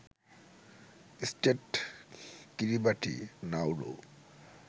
state Kiribati, Nauru